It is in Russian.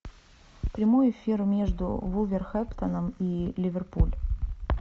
прямой эфир между вулверхэмптоном и ливерпуль